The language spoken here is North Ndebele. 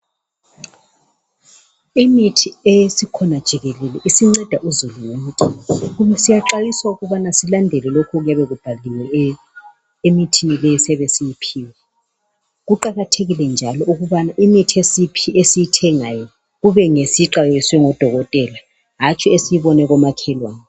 Imithi esikhona jikelele isinceda uzulu wonke. Siyaxhwayisa ukubana silandele lokhu okuyabe kubhaliwe emithini le esiyiphiwayo. Kuqakathekile njalo ukubana imithi esiyithengayo kube ngsiyixhwayiswe ngodokotela hantsi esiyibone komakhelwane.